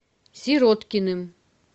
сироткиным